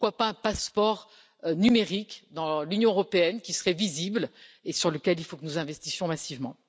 Pourquoi pas un passeport numérique dans l'Union européenne, qui serait visible et sur lequel il faut que nous investissions massivement.